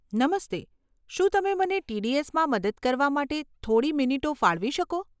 નમસ્તે, શું તમે મને ટીડીએસ માં મદદ કરવા માટે થોડી મિનિટો ફાળવી શકો?